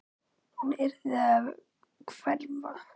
Hún yrði að hverfa.